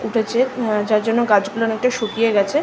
উঠেছে উ যার জন্য গাছ গুলো অনেকটা শুকিয়ে গেছে।